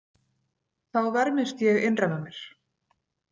Þá vermist ég innra með mér.